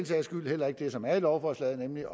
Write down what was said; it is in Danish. sags skyld heller ikke det som er i lovforslaget nemlig at